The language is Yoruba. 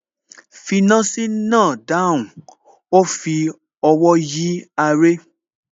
finasi náà dáhùn, ó fi ọwọ́ yí aré